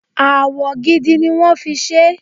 Awọ gidi ni wón fi ṣé.